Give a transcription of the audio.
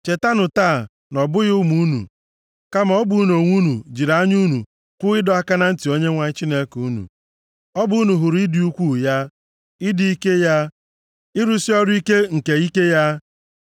Chetanụ taa na ọ bụghị ụmụ unu, kama ọ bụ unu onwe unu jiri anya unu hụ ịdọ aka na ntị Onyenwe anyị Chineke unu. Ọ bụ unu hụrụ ịdị ukwuu ya, ịdị ike ya, ịrụsị ọrụ ike nke ike ya,